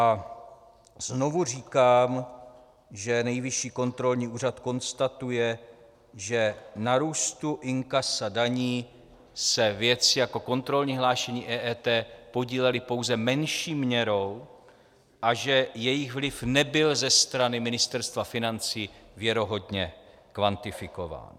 A znovu říkám, že Nejvyšší kontrolní úřad konstatuje, že na růstu inkasa daní se věci jako kontrolní hlášení EET podílely pouze menší měrou a že jejich vliv nebyl ze strany Ministerstva financí věrohodně kvantifikován.